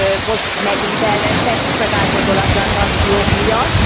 Most megint elvesztettük az átgondolatlan szankciók miatt.